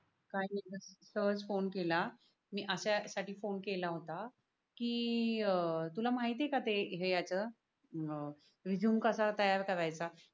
काही नाय सहज फोन केला. मी अशा साठी फोन केला होता. कि तुला अह माहिती ये का ते ह्याच अं रेझूमे कसा तयार कार्याचा?